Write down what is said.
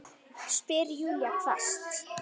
spyr Júlía hvasst.